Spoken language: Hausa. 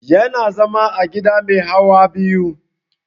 Yana zama a gida mai hawa biyu